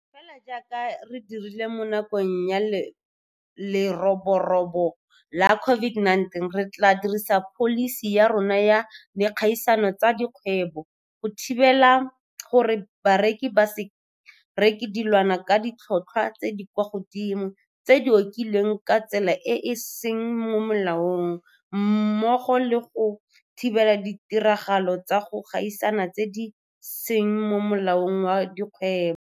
Fela jaaka re dirile mo nakong ya leroborobo la COVID-19, re tla dirisa pholisi ya rona ya dikgaisano tsa dikgwebo go thibela gore bareki ba se reke dilwana ka ditlhotlhwa tse di kwa godimo tse di okediwang ka tsela e e seng mo molaong mmogo le go thibela ditiragalo tsa go gaisana tse di seng mo molaong wa dikgwebo.